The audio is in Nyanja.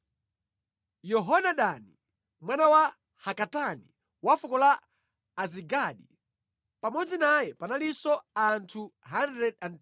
Yohanani, mwana wa Hakatani wa fuko la Azigadi. Pamodzi naye panalinso anthu 110.